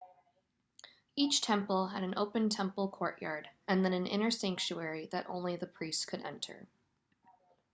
each temple had an open temple courtyard and then an inner sanctuary that only the priests could enter